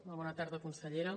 molt bona tarda consellera